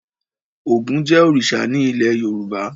Ògún jẹ́ òrìṣà ní ilé Yorùbá.